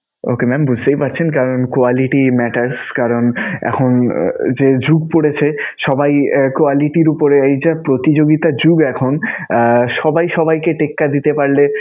Ok mam বুঝতেই পারছেন কারন quality matters কারন এখন যে যুগ পরেছে সবাই quality র উপরে প্রতিযোগিতার যুগ এখন. আহ সবাই সবাইকে টেক্কা দিতে পারলে